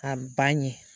A ba ɲɛ